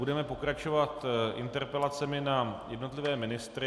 Budeme pokračovat interpelacemi na jednotlivé ministry.